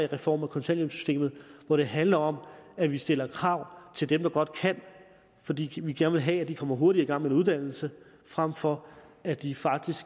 reform af kontanthjælpssystemet hvor det handler om at vi stiller krav til dem der godt kan fordi vi gerne vil have at de kommer hurtigere i gang med en uddannelse frem for at de faktisk